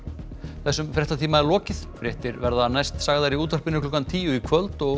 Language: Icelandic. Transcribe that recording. þessum fréttatíma er lokið fréttir verða næst sagðar í útvarpi klukkan tíu í kvöld og